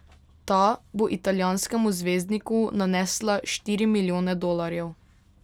Ta bo italijanskemu zvezdniku nanesla štiri milijone dolarjev.